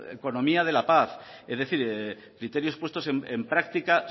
economía de la paz criterios puestos en práctica